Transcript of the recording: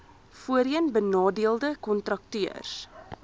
voorheen benadeelde kontrakteurs